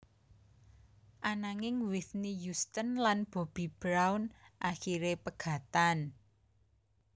Ananging Whitney Houston lan Bobby Brown akiré pegatan